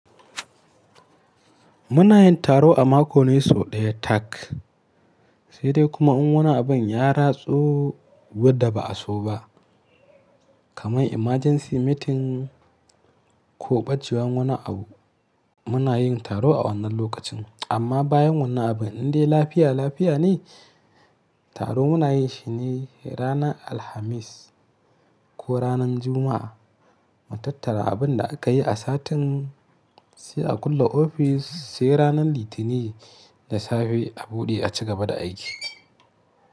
Muna yin taro a mako ne sau ɗaya tak. Sai dai kuma in wani abin ya ratso wadda ba'a so ba, kamar emergency meeting ko ɓacewan wani abu, muna yin taro a wannan lokacin. Amma bayan wannan abin din dai lafiya lafiya ne, taro muna yi shi ne ranar Alhamis ko ranar Juma'a mu tattara abin da aka yi a satin, sai a kulle ofis sai ranar Litinin da safe a buɗe a ci gaba da aiki.